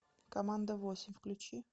команда восемь включи